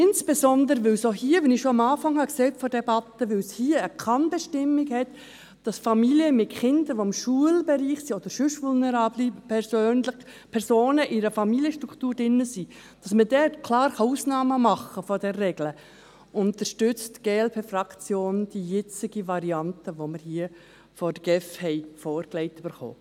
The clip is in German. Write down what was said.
Dies insbesondere, weil es hier – wie ich dies am Anfang der Debatte schon erwähnt habe – um eine Kann-Bestimmung geht, wonach man bei Familien mit Kindern, die im Schulbereich sind, oder bei sonst vulnerablen Personen, die in einer Familienstruktur drin sind, klar Ausnahmen von dieser Regel machen kann.